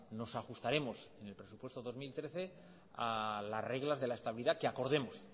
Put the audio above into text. nos ajustaremos en el presupuesto dos mil trece a las reglas de la estabilidad que acordemos